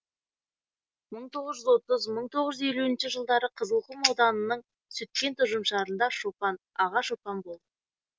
мың тоғыз жүз отыз мың тоғыз жүз елуінші жылдары қызылқұм ауданының сүткент ұжымшарында шопан аға шопан болды